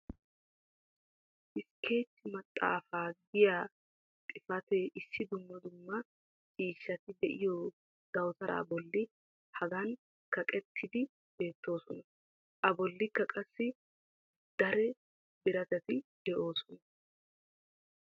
iskeechi maxaafaa giya xifatee issi dumma dumma ciishshati diyo dawutaraa boli hagan kaqettidi beetoososna. a bolikka qassi dare biratatti doosona.